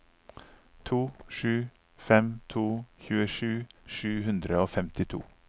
to sju fem to tjuesju sju hundre og femtito